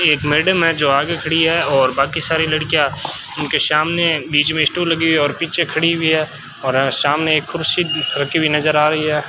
एक मैडम है जो आगे खड़ी है और बाकी सारी लड़कियां उनके सामने बीच में स्टोल लगी हुई है और पीछे खड़ी हुई है और अ सामने एक कुर्सी रखी हुई नजर आ रही है।